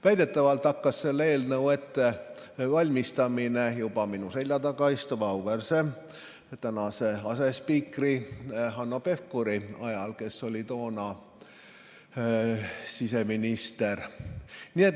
Väidetavalt hakkas selle eelnõu ettevalmistamine pihta juba minu selja taga istuva auväärse asespiikri Hanno Pevkuri ajal, kes oli toona siseminister.